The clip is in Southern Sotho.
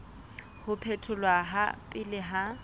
ho phetholwa ha pele ha